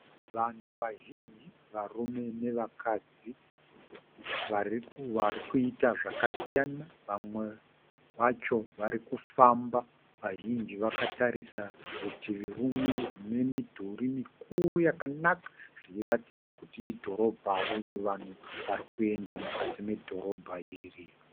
Vanhu vazhinji varume nevakadzi varikuita zvakasiyana. vamwe vacho varikufamba, vazhinji vakatarisa rutivi rumwe rine midhuri mikuru yakanaka richiraridza kuti idhorobha uye vanhu varikuenda mukati medhorobha iri.